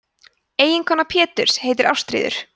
eiginkona péturs heitir ástríður